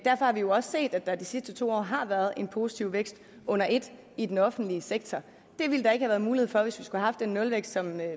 har vi jo også set at der de sidste to år har været en positiv vækst under et i den offentlige sektor det ville der ikke have været mulighed for hvis vi skulle have haft den nulvækst som